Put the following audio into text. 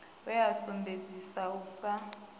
we a sumbedzesa u sa